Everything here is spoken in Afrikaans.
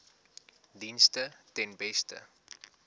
dienste ten beste